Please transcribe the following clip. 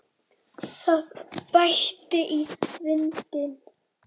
Það bætti í vindinn og